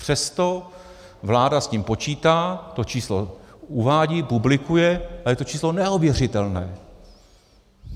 Přesto vláda s tím počítá, to číslo uvádí, publikuje a je to číslo neověřitelné.